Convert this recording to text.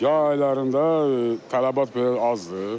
Yay aylarında tələbat belə azdır.